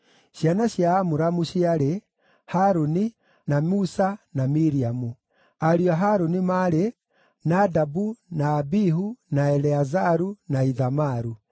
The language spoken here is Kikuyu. Ciana cia Amuramu ciarĩ: Harũni, na Musa, na Miriamu. Ariũ a Harũni maarĩ: Nadabu, na Abihu, na Eleazaru, na Ithamaru.